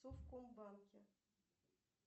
в совкомбанке